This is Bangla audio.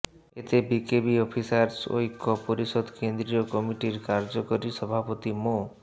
এতে বিকেবি অফিসার্স ঐক্য পরিষদ কেন্দ্রীয় কমিটির কার্যকরী সভাপতি মো